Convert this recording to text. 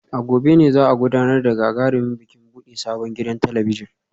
A gobe ne za a gudanar da gagarumin bikin bude sabon gidan talabijin